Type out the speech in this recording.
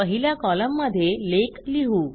पहिल्या कॉलममध्ये लेख लिहू